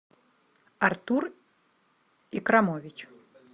артур икрамович